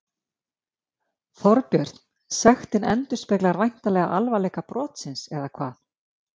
Þorbjörn, sektin endurspeglar væntanlega alvarleika brotsins, eða hvað?